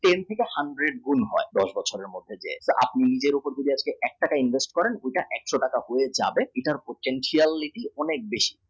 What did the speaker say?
ten থেকে hundred গুণ হয় দশ বছরের মধ্যে দিয়ে আপনি যদি নিজের উপর এক টাকা invest করেন সেটা একশ টাকা হয়ে যাবে সেটার potentiality বেশী